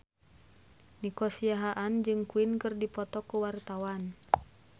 Nico Siahaan jeung Queen keur dipoto ku wartawan